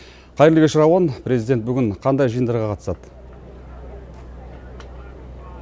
қайырлы кеш рауан президент бүгін қандай жиындарға қатысады